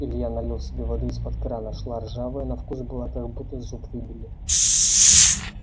илья налил себе воды из-под крана шла ржавая на вкус была как будто зуб выбили